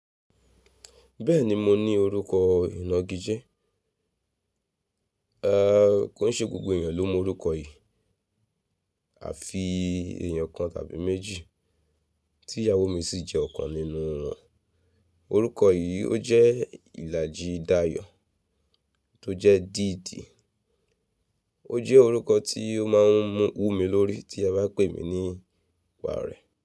Bẹ́ẹ̀ni mo ní orúkọ ìnagijẹ, ẹ́ kò ṣe gbogbo èèyàn ló mọ orúkọ yìí àfi èèyàn kan tàbí méjì, tí ìyàwó mi sì jẹ́ ọ̀kan nínú wọn. Orúkọ yìí ó jẹ́ ìlàjídàyọ̀ tó jẹ́ dìde. Ó jẹ́ orúkọ tí ó máa ń mú wú mi lórí tí a ba pè mí nípa rẹ̀